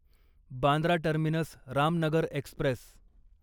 Bandra terminus Ramnagar Express